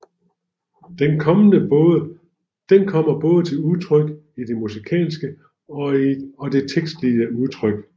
Den kommer både til udtryk i det musikalske og det tekstlige udtryk